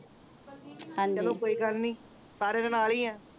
ਹਾਂਜੀ ਚਲੋ ਕੋਈ ਗੱਲ ਨਹੀਂ ਸਾਰਿਆਂ ਦੇ ਨਾਲ ਹੀ ਆ